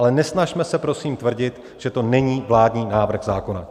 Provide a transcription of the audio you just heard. Ale nesnažme se prosím tvrdit, že to není vládní návrh zákona.